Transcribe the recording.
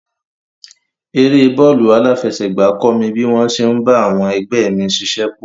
Eré bọ́ọ̀lù aláfẹsẹ̀gbá kọ́ mi bí wọ́n ṣe ń bá àwọn ẹgbẹ́ mi ṣiṣẹ́pọ̀.